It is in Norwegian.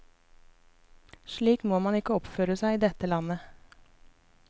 Slik må man ikke oppføre seg i dette landet.